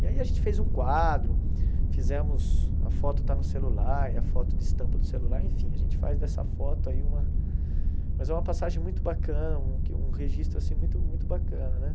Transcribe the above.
E aí a gente fez um quadro, fizemos... A foto está no celular, é a foto de estampa do celular, enfim, a gente faz dessa foto aí uma... Mas é uma passagem muito bacana, um que um registro, assim, muito muito bacana, né?